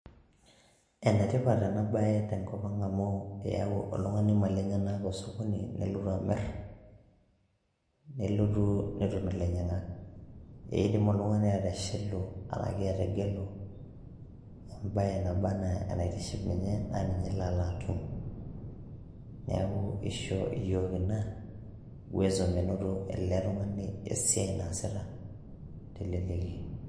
enetipat ena baye tenkop ang amu eyau oltung'ani imali enyenak osokoni nelotu amirr nelotu netum ilainyiang'ak eidim oltung'ani ateshelu enake ategelu embaye naba anaa enaitiship ninye naa ninye elo alo atum niaku isho iyiok ina uwezo menoto ele tung'ani esiai naasita teleleki.